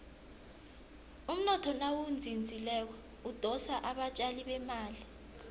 umnotho nawuzinzileko udosa abatjali bemali